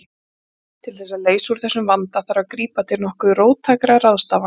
Til þess að leysa úr þessum vanda þarf að grípa til nokkuð róttækra ráðstafana.